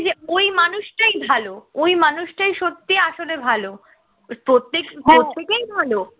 ওই মানুষটাই ভালো ওই মানুষটাই সত্যিই আসলে ভালো প্রত্যেক প্রত্যেকেই ভালো